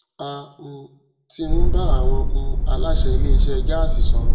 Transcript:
a um ti ń bá àwọn um aláṣẹ ilé isẹ gáàsì sọrọ